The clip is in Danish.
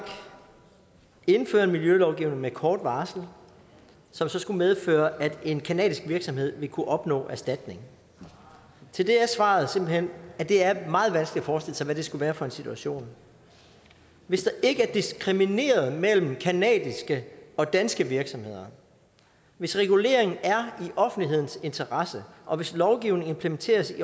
indfører en miljølovgivning med kort varsel som så skulle medføre at en canadisk virksomhed ville kunne opnå erstatning til det er svaret simpelt hen at det er meget vanskeligt at forestille sig hvad det skulle være for en situation hvis der ikke er diskrimineret mellem canadiske og danske virksomheder hvis reguleringen er i offentlighedens interesse og hvis lovgivningen implementeres